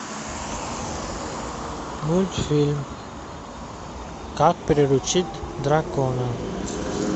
мультфильм как приручить дракона